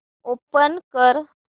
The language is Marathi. ओपन कर